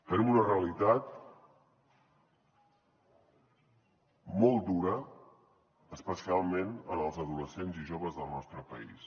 tenim una realitat molt dura especialment en els adolescents i joves del nostre país